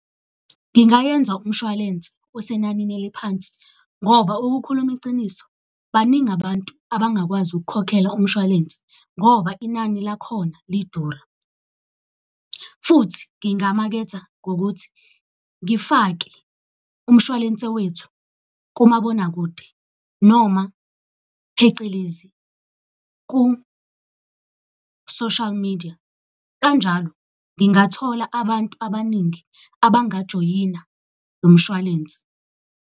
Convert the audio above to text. Ngingayenza umshwalense osenanini eliphansi, ngoba ukukhuluma iciniso baningi abantu abangakwazi ukukhokhela umshwalense ngoba inani lakhona lidura. Futhi ngingamaketha ngokuthi ngifake umshwalense wethu kumabonakude, noma phecelezi ku-social media. Kanjalo ngingathola abantu abaningi abangajoyina lo mshwalense.